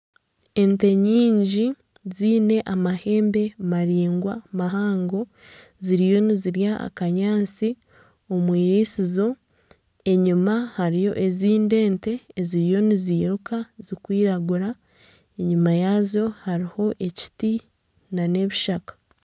Ente nyingi ziine amahembe maringwa, mahango ziriyo nizirya akanyaatsi omu irisizo enyima hariyo ezindi ente eziriyo niziruka ziri kwiragura enyima yazo hariho ekiti na n'ebishaka.